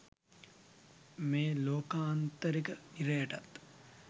මේ ලෝකාන්තරික නිරයටත්